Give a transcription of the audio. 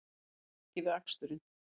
Réðu ekki við aksturinn